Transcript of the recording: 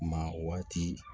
Ma waati